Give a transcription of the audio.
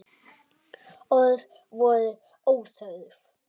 Orð voru óþörf.